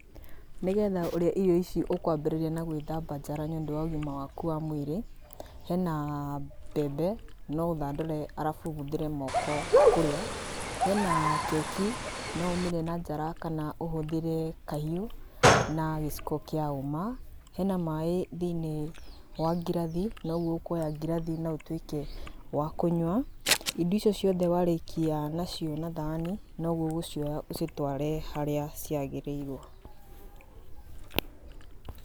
Nĩgetha ũrĩe irio ici ũkwambĩrĩria na gwĩthamba njara nĩ ũndũ wa ũgima waku wa mwĩrĩ, hena mbembe, no ũthandũre arabu ũhũthĩre moko kũrĩa. Hena keki, no ũmĩrĩe na njara kana ũhũthĩre kahiũ, na gĩciko kĩa hũma. Hena maĩ thĩiniĩ wa ngirathi, na ũguo ũkoya ngirathi ĩno na ũtuĩke wa kũnyua. Irio icio ciothe warĩkia nacio na thani, noguo ũgũcioya ũcitware harĩa ciagĩrĩirwo.